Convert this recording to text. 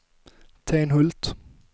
Tenhult